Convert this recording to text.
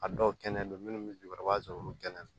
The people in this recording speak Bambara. A dɔw kɛnɛ don minnu bɛ jukɔrɔ i b'a sɔrɔ olu kɛnɛ